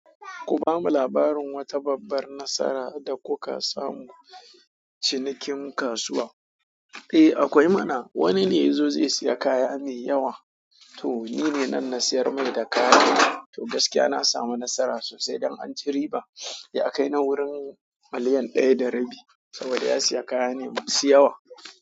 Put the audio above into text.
Ku bamu labarin wata babbar nasara da kuka samu cinikin kasuwa. Eh akwai mana. Wani ne ya zo zai saya kaya mai yawa. To nine nan na siyar mai da kayan. To gaskiya na samu nasara sosai dan anci riba. Ya kai na wurin miliyan ɗaya da rabi saboda ya siya kaya ne masu yawa.